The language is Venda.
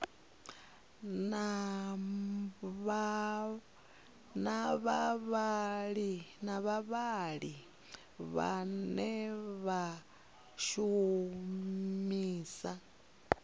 na vhavhali vhane vha shumisa